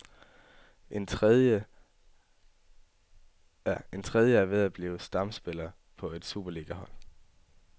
En tredje er ved at blive stamspiller på et superligahold.